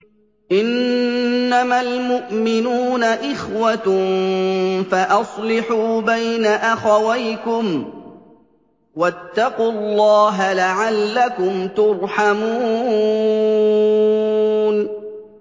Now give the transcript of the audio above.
إِنَّمَا الْمُؤْمِنُونَ إِخْوَةٌ فَأَصْلِحُوا بَيْنَ أَخَوَيْكُمْ ۚ وَاتَّقُوا اللَّهَ لَعَلَّكُمْ تُرْحَمُونَ